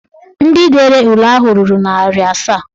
Ndị dere ule ahụ ruru narị asaa